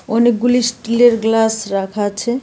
অনেকগুলি স্টিলের গ্লাস রাখা আছে।